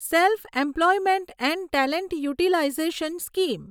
self employment and talent utilisation scheme